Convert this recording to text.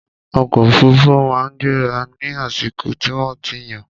ọkọ òfurufú máa ń gbéra ní àsìkò tí wọ́n ti yàn.